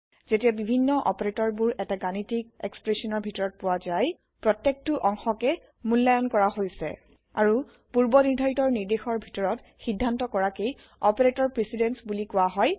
যেতিয়া বিভিন্ন অপাৰেতৰ বোৰ এটা গণিতিক এক্সপ্ৰেচনৰ ভিতৰত পোৱা জাই প্ৰত্যকটো অংশকে মূল্লায়ন কৰা হৈছে আৰু পূৰ্বনিৰ্ধাৰিত নিৰ্দেশৰ ভিতৰত সিদ্ধান্ত কৰাকে অপাৰেতৰ প্ৰিচিডেন্স বুলি কোৱা হ্য়